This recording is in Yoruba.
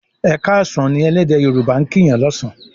"e káàsán" ní ẹlẹdẹ yoruba' kín Yàn lọsan